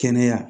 Kɛnɛya